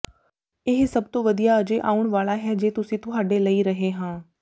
ਇਹ ਸਭ ਤੋਂ ਵਧੀਆ ਅਜੇ ਆਉਣ ਵਾਲਾ ਹੈ ਜੇ ਅਸੀਂ ਤੁਹਾਡੇ ਲਈ ਰਹੇ ਹਾਂ